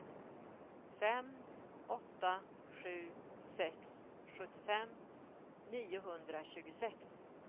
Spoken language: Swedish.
fem åtta sju sex sjuttiofem niohundratjugosex